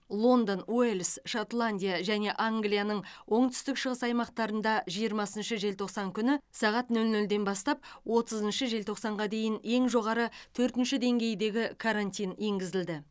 лондон уэльс шотландия және англияның оңтүстік шығыс аймақтарында жиырмасыншы желтоқсан күні сағат нөл нөлден бастап отызыншы желтоқсанға дейін ең жоғары төртінші деңгейдегі карантин енгізілді